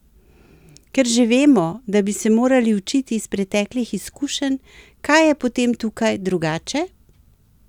Ker že vemo, da bi se morali učiti iz preteklih izkušenj, kaj je potem tukaj drugače?